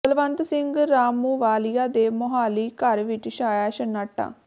ਬਲਵੰਤ ਸਿੰਘ ਰਾਮੂਵਾਲੀਆ ਦੇ ਮੁਹਾਲੀ ਘਰ ਵਿੱਚ ਛਾਇਆ ਸੰਨਾਟਾ